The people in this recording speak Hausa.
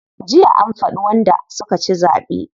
Jiya an faɗi wanda suka ci zaɓe.